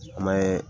An bɛ